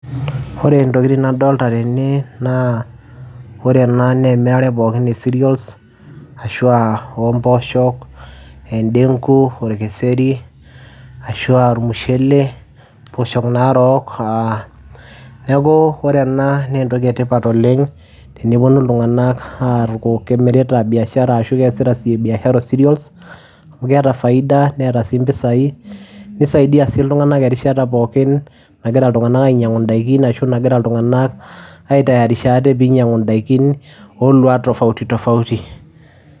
Ore ntokitin nadolta tene naa ore ena naa emirare pookin e cereals ashu aa ompoosho, edengu, orkeseri ashu aa ormushele mpoosho naarok aa, neeku ore ena naa entoki etipat oleng' teneponu iltung'anak aaku kemirita biashara arashu kegira aasie biashara serious amu keeta faida neeta sii mpisaai nisaidia sii iltung'anak erishata pookin nagira iltung'anak ainyiang'u ndaikin ashu nagira iltung'anak aitayarisha ate piinying'u ndaikin ooluat tofauti tofauti.